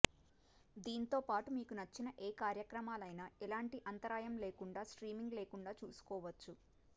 దీంతో పాటు మీకు నచ్చిన ఏ కార్యక్రమాలైనా ఎలాంటి అంతరాయం లేకుండా స్ట్రీమింగ్ లేకుండా చూసుకోవచ్చు